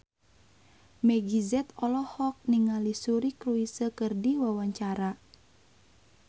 Meggie Z olohok ningali Suri Cruise keur diwawancara